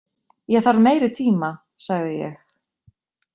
Ég þarf meiri tíma, sagði ég.